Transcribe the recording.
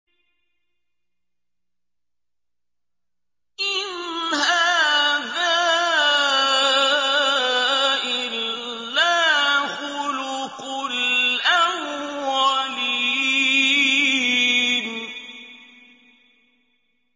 إِنْ هَٰذَا إِلَّا خُلُقُ الْأَوَّلِينَ